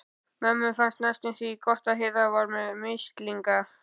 Mömmu fannst næstum því gott að Heiða var með mislinga.